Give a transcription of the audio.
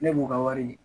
Ne b'u ka wari di